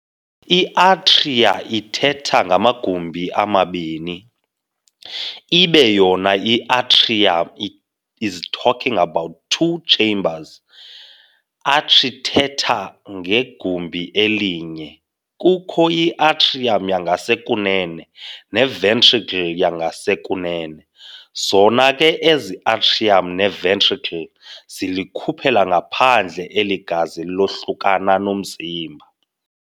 I-Atria ithetha ngamagumbi amabini, ibe yona i-atrium s talking about two chambers, atrithetha ngegumbi elinye. kukho i-atrium yangasekunene ne-ventricle yangasekunene. Zona ke ezi atrium ne-ventricle zilikhuphela ngaphandle eli gazi lohlukane nomzimba.